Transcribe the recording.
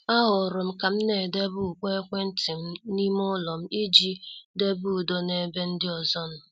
A horom kam na- edebe ukpo ekwentị m n' ime ụlọ m iji debe udo n' ebe ndị ọzọ nọ.